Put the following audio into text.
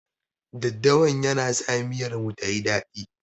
Daddawan yana sa miyar mu tayi dadi.